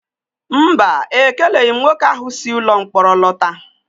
Mba, ekeleghị m nwoke ahụ si ụlọmkpọrọ lọta